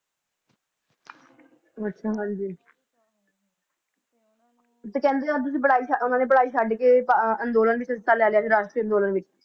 ਤੇ ਕਹਿੰਦੇ ਅੱਧ ਚ ਪੜ੍ਹਾਈ ਛੱਡ ਓਹਨਾ ਨੇ ਪੜ੍ਹਾਈ ਛੱਡ ਕ ਅੰਦੋਲਨ ਵਿਚ ਹਿੱਸਾ ਲੈ ਲਿਆ ਸੀ ਰਾਸ਼ਟਰੀ ਅੰਦੋਲਨ ਵਿਚ